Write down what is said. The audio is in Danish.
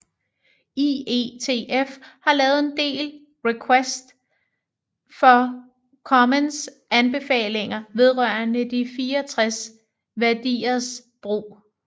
IETF har lavet en del request for comments anbefalinger vedrørende de 64 værdiers brug